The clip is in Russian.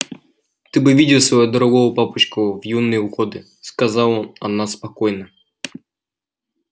ты бы видела своего дорогого папочку в юные годы сказала она спокойно